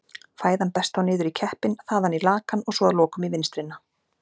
Fæðan berst þá niður í keppinn, þaðan í lakann og svo að lokum í vinstrina.